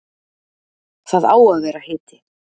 Það á að vera hiti.